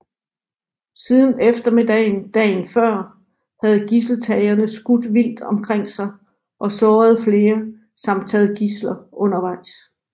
Siden eftermiddagen dagen før havde gidseltagerne skudt vildt omkring sig og såret flere samt taget gidsler undervejs